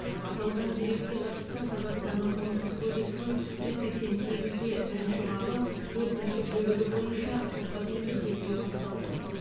аталған дерекке қатысты қазақстанның қылмыстық кодексінің жүз сексен сегіз де бірінші бабы төртінші бөлігі бойынша сотқа дейінгі тергеу басталды